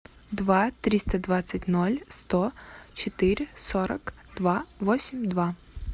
два триста двадцать ноль сто четыре сорок два восемь два